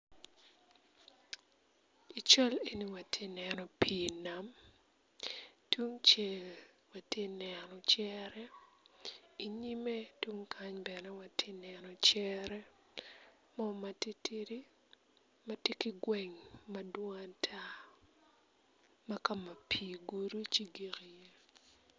I cal eni wati neno pii nam tungcel ati neno cere inyime tung kany bene wati neno cere mo matitidi ma tye ki gweng ma dwong ata ma ka ma pii ogudo ci gik iye.